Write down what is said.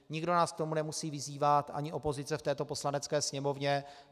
Nikdo nás k tomu nemusí vyzývat, ani opozice v této Poslanecké sněmovně.